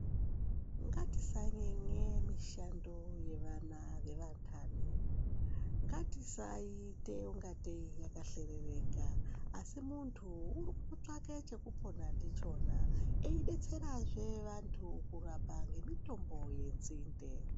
Ngatisanyenye mishando yevana vevantani. Ngatisaiite ungatei yakahlerereka, asi muntu uri kutotsvake chekupona ndichona, eidetserazve vantu kurapa ngemitombo yenzinde.